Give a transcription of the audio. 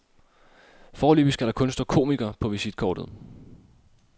Foreløbig skal der kun stå komiker på visitkortet.